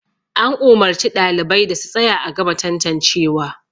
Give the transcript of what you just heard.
an umarci ɗalibai da su tsaya a gama tantancewa